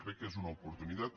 crec que és una oportunitat